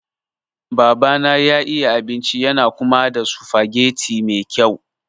Babana ya iya abinci yana kuma haɗa sufageti me kyau.